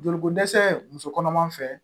Joliko dɛsɛ muso kɔnɔma fɛ